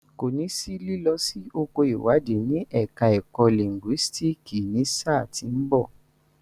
Kò ní sí lílọ sí oko ìwádìí ní ẹ̀ka ẹ̀kọ́ lìńgúísíìkì ní sáà tí ń bọ̀.